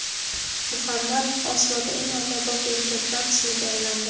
Muhammad Osloda eng ommabop erkaklar ismiga aylandi.